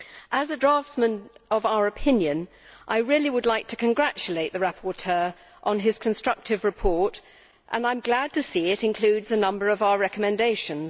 As a draftsman of our opinion I really would like to congratulate the rapporteur on his constructive report, and I am glad to see that it includes a number of our recommendations.